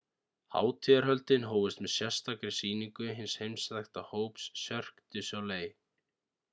hátíðarhöldin hófust með sérstakri sýningu hins heimþekkta hóps cirque du soleil